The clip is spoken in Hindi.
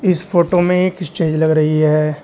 इस फोटो में एक स्टेज लग रही है।